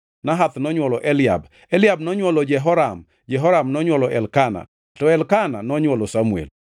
Nahath nonywolo Eliab, Eliab nonywolo Jeroham, Jehoram nonywolo Elkana, to Elkana nonywolo Samuel.